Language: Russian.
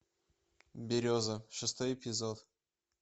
береза шестой эпизод